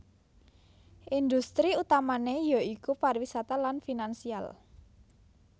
Industri utamané ya iku pariwisata lan finansial